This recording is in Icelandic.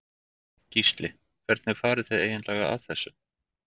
Gísli: Hvernig farið þið eiginlega að þessu?